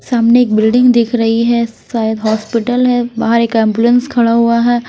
सामने एक बिल्डिंग दिख रही है शायद हॉस्पिटल है बाहर एक एंबुलेंस खड़ा हुआ है।